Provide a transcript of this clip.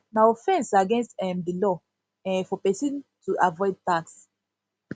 na offense against um di law um for person person to avoid tax